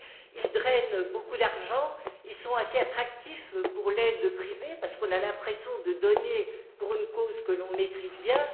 Ils drainent beaucoup d'argent et sont assez attractifs pour l'aide privée parce qu'on a l'impression de donner pour une cause que l'on maîtrise bien.